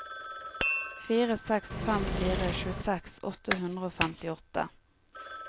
fire seks fem fire tjueseks åtte hundre og femtiåtte